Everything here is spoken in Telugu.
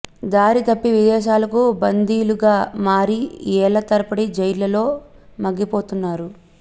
దారి తప్పి విదేశీలకు బందీలు గా మారి ఏళ్ల తరబడి జైళ్లల్లో మగ్గిపోతున్నారు